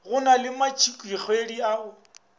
go na le matšatšikgwedi ao